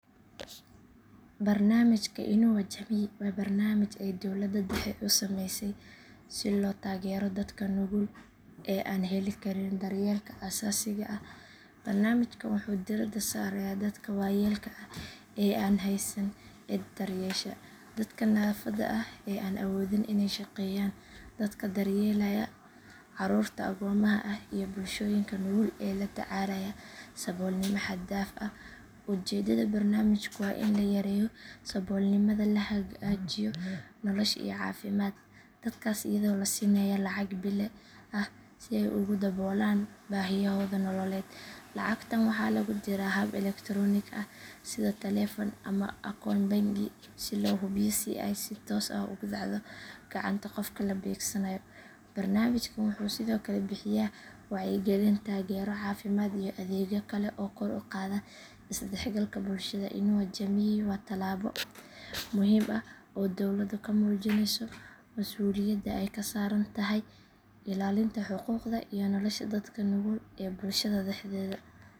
Barnaamijka inua jamii waa barnaamij ay dowladda dhexe u sameysay si loo taageero dadka nugul ee aan heli karin daryeelka aasaasiga ah. Barnaamijkan wuxuu diiradda saarayaa dadka waayeelka ah ee aan haysan cid daryeesha, dadka naafada ah ee aan awoodin inay shaqeeyaan, dadka daryeelaya caruurta agoomaha ah iyo bulshooyinka nugul ee la tacaalaya saboolnimo xad dhaaf ah. Ujeedada barnaamijku waa in la yareeyo saboolnimada, la hagaajiyo nolosha iyo caafimaadka dadkaas iyadoo la siinayo lacag bille ah si ay ugu daboolaan baahiyahooda nololeed. Lacagtan waxaa lagu diraa hab elektaroonik ah sida taleefan ama akoon bangi si loo hubiyo in ay si toos ah ugu dhacdo gacanta qofka la beegsanayo. Barnaamijkan wuxuu sidoo kale bixiyaa wacyigelin, taageero caafimaad iyo adeegyo kale oo kor u qaada is dhexgalka bulshada. Inua jamii waa tallaabo muhiim ah oo dowladdu ku muujinayso masuuliyadda ay ka saaran tahay ilaalinta xuquuqda iyo nolosha dadka nugul ee bulshada dhexdeeda.